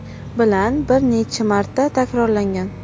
bilan bir necha marta takrorlangan.